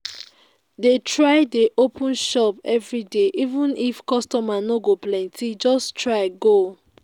dey try dey open shop everyday even if customer no go plenty just try go